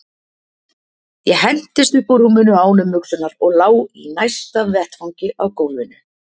Ég hentist upp úr rúminu án umhugsunar og lá í næsta vetfangi á gólfinu.